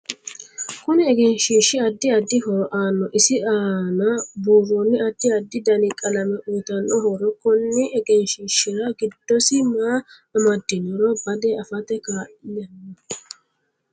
Kuni egenshiishi addi addi horo aanno isi aana buurooni addi addi dani qalame uyiitano horo konni egenshiishira giddosi maa amadinoro bade afate kaal'nno